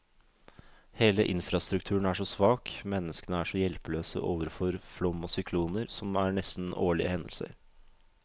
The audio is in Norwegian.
Hele infrastrukturen er så svak, menneskene er så hjelpeløse overfor flom og sykloner, som er nesten årlige hendelser.